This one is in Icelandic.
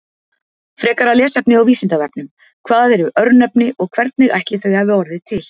Frekara lesefni á Vísindavefnum: Hvað eru örnefni og hvernig ætli þau hafi orðið til?